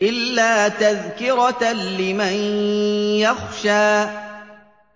إِلَّا تَذْكِرَةً لِّمَن يَخْشَىٰ